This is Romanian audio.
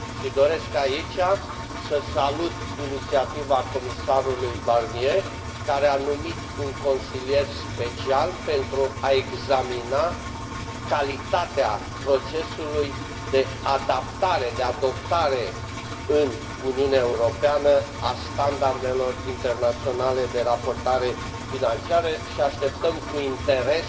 Doresc aici să salut inițiativa comisarului Barnier, care a numit un consilier special pentru a examina calitatea procesului de adaptare, de adoptare în Uniunea Europeană a standardelor internaționale de raportare financiară și așteptăm cu interes